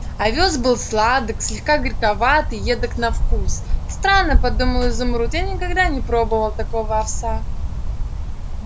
овёс был сладок слегка горьковат и едок на вкус странно подумал изумруд я никогда не пробовал такого овса